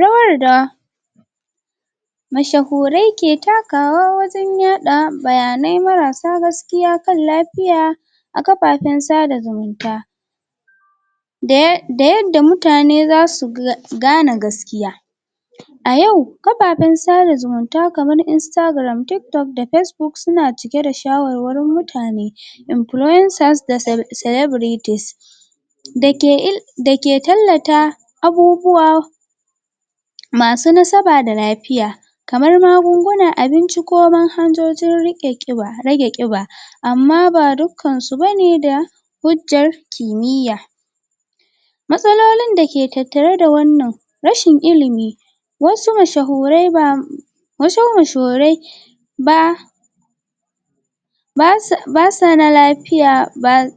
Rawar da mashahurai ke takawa wajen yada bayanai marasa gaskiya kan lafiya a kafafe sada zumunta da yadda mutane za su gane gaskiya a yau kafafen sada zumunta kamar Instagram, TikTok da Facebook suna cike da shawarwarin mutane influencers da celebrities dake um dake tallata abubuwa masu nasaba da lafiya kamar magungunan abinci ko manhajojin rage ƙiba amma ba dukkansu ba ne da hujjar kimiya matsalolon dake tattare da wannan rashin ilimi wasu mashahurai ba wasu mashahurai ba ba su da lafiya ba su da?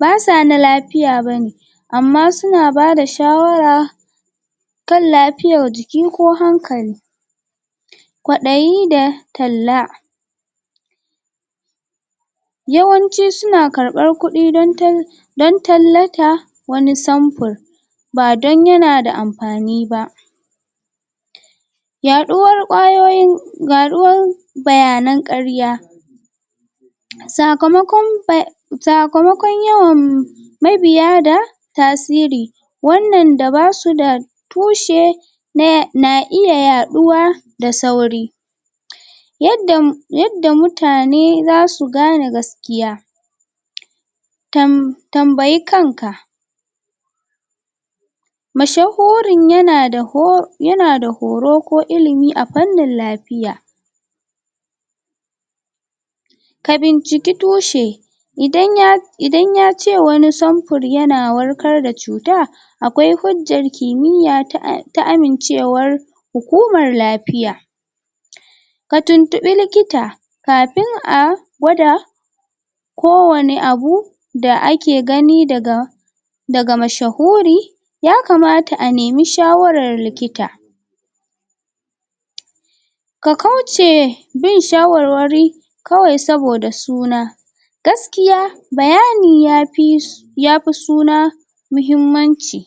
ba sa na lafiya ba ne amma su na bada shawara kan lafiyar jiki ko hankali kwaɗayi da talla yawanci su na karɓar kudi don tal? don tallata wani samfir ba don yana da amfani ba yaɗuwar ƙwayoyin? bayanan ƙarya sakamakon baya sakamakon yawan mabiya da tasiri wannan da ba su da tushe? na iya yaɗuwa da sauri yadda um mutane za su gane gaskiya? tanbayi kanka mashahurin yana da um yana da horo ko ilimi a fannin lafiya ka binciki tushe idan ya idan ya ce awani samfir yana warkar da cuta akwai hujjar kimiya ta ta amincewar hukumar lafiya ka tuntuɓi likita kafin a gwada kowane abu da ake gani daga daga mashahuri ya kamata a nemi shawarar likita ka kauce bin shawarwari kawai saboda suna gaskiya bayani ya fi su ya fi suna muhimmanci